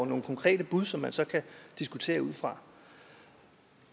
nogle konkrete bud som man så kan diskutere ud fra